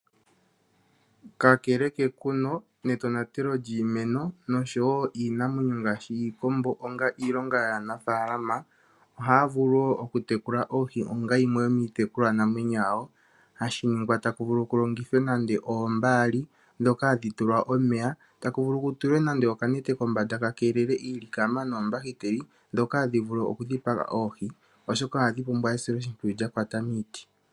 Kakele kekuno netonatelo lyiimeno noshowo iinamwenyo ngaashi iikombo onga iilonga yaanafalama. Ohaya vulu wo okutekula oohi onga yimwe yomiitekulwa namwenyo yawo, hashi ningwa tashi vulu ku longithwe nande oombaali dhoka hadhi tulwa omeya taku vulu ku tulwe nande okanete kombanda ka keelele iilikama noombakiteli dhoka hadhi vulu okudhipaga oohi. Oshoka ohadhi pumbwa esiloshimpwiyu lya kwata miiti.